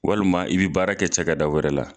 Walima i bɛ baara kɛ cɛ ka da wɛrɛ la.